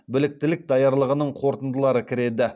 біліктілік даярлығының қорытындылары кіреді